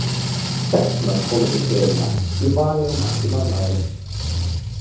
Sex mörk komu til greina í vali á marki mánaðarins.